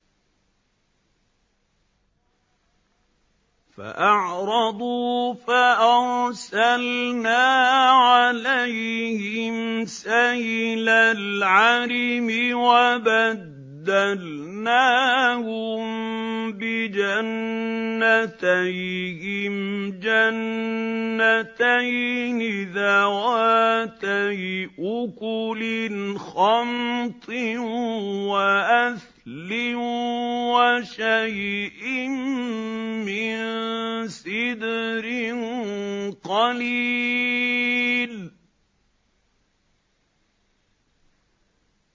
فَأَعْرَضُوا فَأَرْسَلْنَا عَلَيْهِمْ سَيْلَ الْعَرِمِ وَبَدَّلْنَاهُم بِجَنَّتَيْهِمْ جَنَّتَيْنِ ذَوَاتَيْ أُكُلٍ خَمْطٍ وَأَثْلٍ وَشَيْءٍ مِّن سِدْرٍ قَلِيلٍ